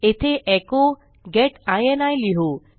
येथे एचो गेट इनी लिहू